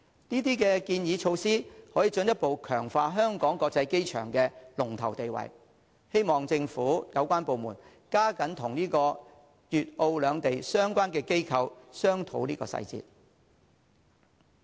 這些建議措施可進一步強化香港機場的龍頭地位，希望政府有關部門加緊與粵澳兩地相關機構商討細節。